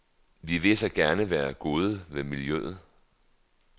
Vi vil så gerne være gode ved miljøet.